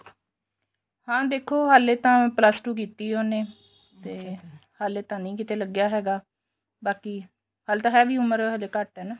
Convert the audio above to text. ਹਾਂ ਦੇਖੋ ਹਲੇ ਤਾਂ plus two ਕੀਤੀ ਏ ਉਹਨੇ ਤੇ ਹਲੇ ਤਾਂ ਨਹੀਂ ਕਿੱਥੇ ਲੱਗਿਆ ਹੈਗਾ ਬਾਕੀ ਹਲੇ ਤਾਂ ਹੈ ਵੀ ਉਮਰ ਹਲੇ ਘੱਟ ਏ ਨਾ